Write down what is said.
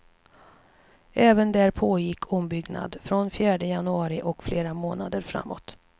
Även där pågick ombyggnad, från fjärde januari och flera månader framåt.